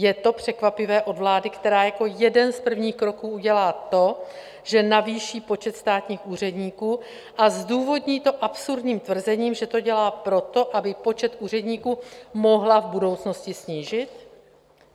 Je to překvapivé od vlády, která jako jeden z prvních kroků udělá to, že navýší počet státních úředníků, a zdůvodní to absurdním tvrzením, že to dělá proto, aby počet úředníků mohla v budoucnosti snížit?